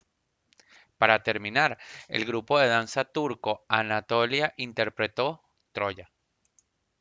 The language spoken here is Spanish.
para terminar el grupo de danza turco anatolia interpretó «troya»